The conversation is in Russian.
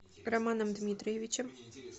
романом дмитриевичем